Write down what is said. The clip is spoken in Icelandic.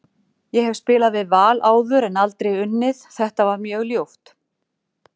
Ég hef spilað við Val áður en aldrei unnið, þetta var mjög ljúft.